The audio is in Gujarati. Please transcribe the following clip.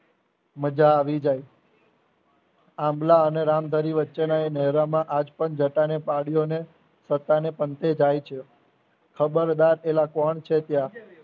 મજા આવી જાય આમળા અને રામ ધરી વચ્ચેના એ નહેરમાં આજ પણ જટાને પડ્યો ને પોતાને પંથે થાય છે ખબરદાર એલ કોણ છે ત્યાં